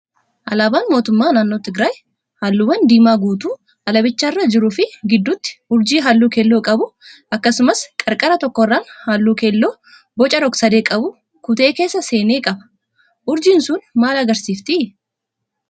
Alaabaan mootummaa naannoo Tigraay halluuwwan diimaa guutuu alaabichaarra jiruu fi gidduutti urjii halluu keelloo qabu akkasumas qarqara tokkorraan halluu keelloo boca rogsadee qabu kutee keessa seene qaba. Urjiin sun maal agarsiifti?